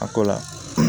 A ko la